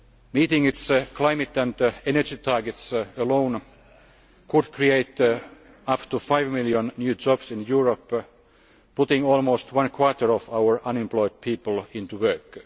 Meeting its climate and energy targets alone could create up to five million new jobs in Europe, putting almost a quarter of our unemployed people into work.